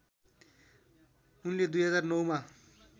उनले २००९ मा